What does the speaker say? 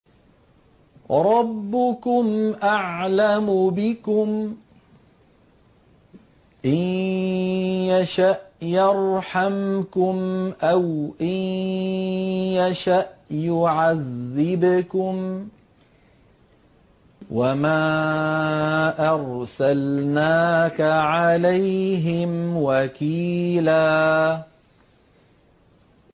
رَّبُّكُمْ أَعْلَمُ بِكُمْ ۖ إِن يَشَأْ يَرْحَمْكُمْ أَوْ إِن يَشَأْ يُعَذِّبْكُمْ ۚ وَمَا أَرْسَلْنَاكَ عَلَيْهِمْ وَكِيلًا